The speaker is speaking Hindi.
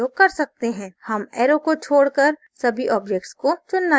हम arrow को छोडकर सभी objects को चुनना चाहते हैं